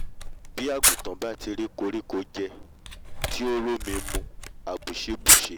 bí àgùntàn bá ti rí koríko jẹ tí ó r'ómi mu mu àbùṣé bùṣe